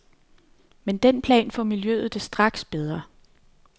Med den plan får miljøet det straks bedre.